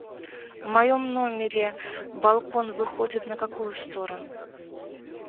в моем номере балкон выходит на какую сторону